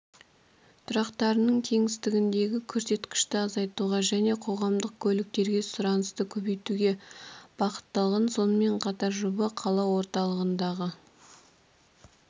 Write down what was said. тұрақтарының кеңістігіндегі көрсеткішті азайтуға және қоғамдық көліктерге сұранысты көбейтуге бағытталған сонымен қатар жоба қала орталығындағы